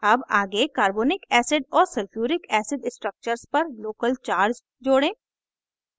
add आगे carbonic acid और sulphuric acid structures पर local charge जोड़ें